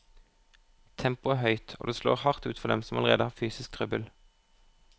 Tempoet er høyt, og det slår hardt ut for dem som allerede har fysisk trøbbel.